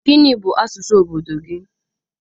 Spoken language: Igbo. Gịnị bụ asụsụ obodo gị?